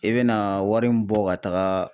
I be na wari min bɔ ka taga